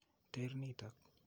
Teer nitok.